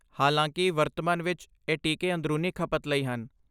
ਹਾਲਾਂਕਿ, ਵਰਤਮਾਨ ਵਿੱਚ, ਇਹ ਟੀਕੇ ਅੰਦਰੂਨੀ ਖਪਤ ਲਈ ਹਨ।